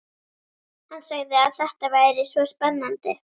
Hann sagði að þetta væri svo spennandi.